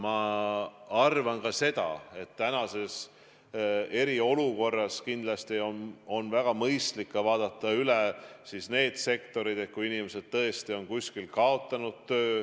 Ma arvan ka seda, et praeguses eriolukorras on kindlasti väga mõistlik vaadata üle ka need sektorid, kus inimesed on töö kaotanud.